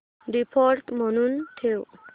default म्हणून ठेव